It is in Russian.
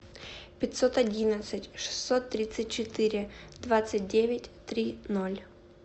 пятьсот одиннадцать шестьсот тридцать четыре двадцать девять три ноль